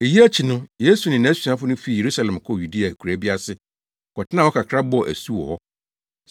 Eyi akyi no Yesu ne nʼasuafo no fii Yerusalem kɔɔ Yudea akuraa bi ase kɔtenaa hɔ kakra bɔɔ asu wɔ hɔ.